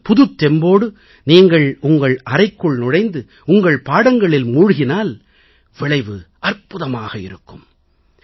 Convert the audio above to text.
இந்த புதுத்தெம்போடு நீங்கள் உங்கள் அறைக்குள் நுழைந்து உங்கள் பாடங்களில் மூழ்கினால் விளைவு அற்புதமாக இருக்கும்